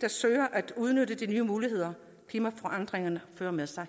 der søger at udnytte de nye muligheder klimaforandringerne fører med sig